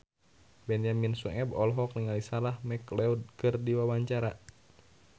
Benyamin Sueb olohok ningali Sarah McLeod keur diwawancara